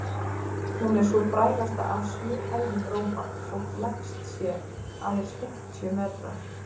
Hún er sú frægasta af sjö hæðum Rómar, þótt lægst sé, aðeins fimmtíu metrar.